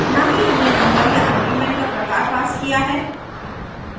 न ही हमने number या arguments का प्रकार passed किया है